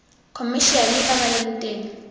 khomešiale ba ba leng teng